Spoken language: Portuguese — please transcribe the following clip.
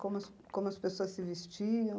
Como como as pessoas se vestiam?